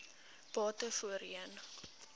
bate voorheen